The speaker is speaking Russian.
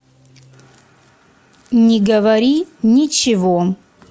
не говори ничего